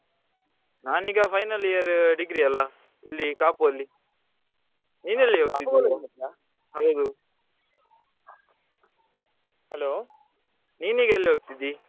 ನಾನ್ ಈಗ final year degree ಅಲ್ಲಾ ಇಲ್ಲಿ ಕಾಪು ಅಲ್ಲಿ ಹೌದು hello ನಿನ್ ಈಗ ಎಲ್ಲಿ ಹೋಗ್ತಿದ್ದಿ?